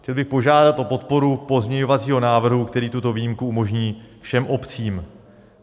Chtěl bych požádat o podporu pozměňovacího návrhu, který tuto výjimku umožní všem obcím.